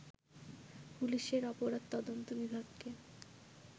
পুলিশের অপরাধ তদন্ত বিভাগকে